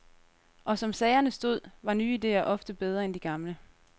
Og som sagerne stod, var nye idéer ofte bedre end de gamle.